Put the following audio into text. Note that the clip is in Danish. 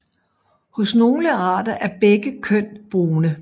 Hos nogle arter er begge køn brune